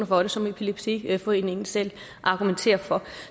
for det som epilepsiforeningen selv argumenterer for